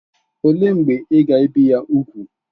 Olee mgbe ị ga-ebi ya úgwù?